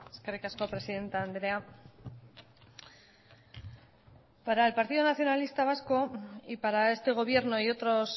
eskerrik asko presidente andrea para el partido nacionalista vasco y para este gobierno y otros